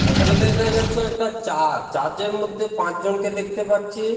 এখানে দেখা দেখা যাচ্ছে একটা চার্চ চার্চ -এর মধ্যে পাঁচজনকে দেখতে পাচ্ছি ।